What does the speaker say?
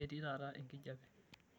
Ketii taata enkijiepe.